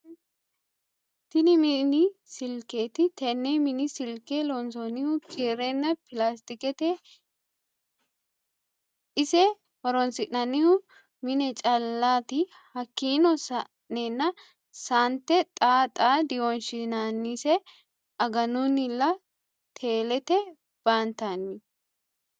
Tinni mini silikeeti tenne mini silike loonsonihu kirrenna pilastiketeti ise horonisinannihu mine callati hakiino sa'eena saante xa xa diwonshinanise agununnilla tellete baantañi.